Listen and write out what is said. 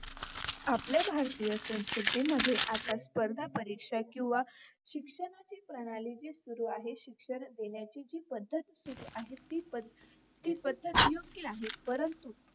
आपल्या भारतीय संस्कृतीमध्ये आता स्पर्धा परीक्षा किंवा शिक्षणाचे प्रणाली जी सुरु आहे शिक्षण देण्याची जी पद्धत सुरु आहे ती पद्धत ती पद्धत योग्य आहे परंतु